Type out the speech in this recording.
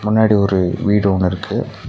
முன்னாடி ஒரு வீடு ஒன்னு இருக்கு.